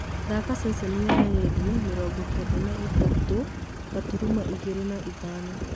thaaka ceceni ya rĩndiũ mĩrongo kenda na ithatũ gaturumo igĩrĩ na ithano